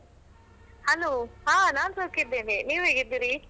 Hello ಹಾ ನಾನ್ ಸೌಖ್ಯ ಇದ್ದೇನೆ, ನೀವು ಹೇಗಿದ್ದೀರಿ?